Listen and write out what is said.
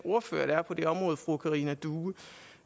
ordføreren